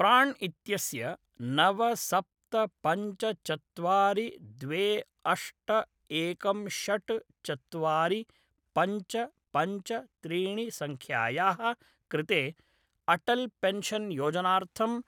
प्राण् इत्यस्य नव सप्त पञ्च चत्वारि द्वे अष्ट एकम् षट् चत्वारि पञ्च पञ्च त्रीणि सङ्ख्यायाः कृते अटल् पेन्शन् योजनार्थं